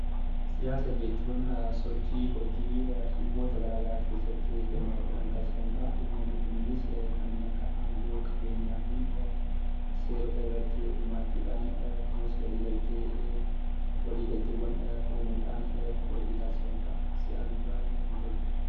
Siyaasa jechuun sochii hojii dhimmoota garaagaraa keessatti hirmaachuudhaan taasifamuu dha. Dhimmoonni kunneenis kanneen akka aangoo, qabeenyaa fi seerota irratti hirmaachuudhaan akkasumas waliigaltee waliigalteewwan uumuudhaan hojii taasifamuu dha. Siyaasni baay'ee natti hin tolu.